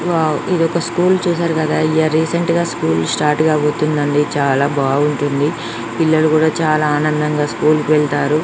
Wow ఇది school చూసారు కదా రీసెంట్గా స్కూలు స్టార్ట్ కాబోతుంది. చాలా బాగుంటుంది. పిల్లలు కూడా చాలా ఆనందంగా స్కూల్ కి వెళ్తారు.